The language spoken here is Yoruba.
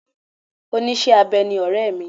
Oníṣẹ́-abẹ ni ọ̀rẹ́ mi.